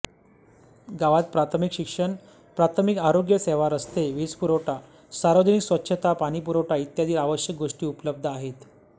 गावात प्राथमिक शिक्षण प्राथमिक आरोग्यसेवा रस्ते वीजपुरवठा सार्वजनिक स्वच्छता पाणीपुरवठा इत्यादी आवश्यक गोष्टी उपलब्ध आहेत